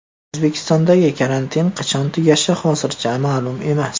O‘zbekistondagi karantin qachon tugashi hozircha ma’lum emas.